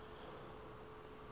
makhanda